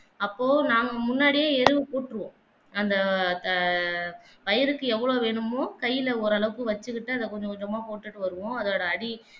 அப்போ நாங்க முன்னாடி கூற்றுவோம் அந்த ஆஹ் வயலுக்கு எவ்ளோ வேணுமா கைல ஓரளவுக்கு வெச்சிக்கிட்டு தான் அத கொஞ்சம் கொஞ்சமா போட்டுட்டு வருவோம் அதோட அடி